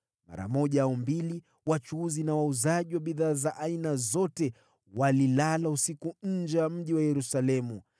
Mara moja au mbili wachuuzi na wauzaji wa bidhaa za aina zote walilala usiku nje ya mji wa Yerusalemu.